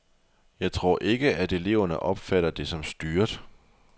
Jeg tror ikke, at eleverne opfatter det som styret.